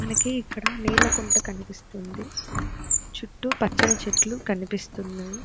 మనకి ఇక్కడ నీళ్ల కుంట కనిపిస్తుంది చుట్టూ పచ్చని చెట్లు కనిపిస్తున్న --